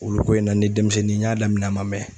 Olu ko in na ni denmisɛnnin n y'a daminɛ a ma mɛɛ n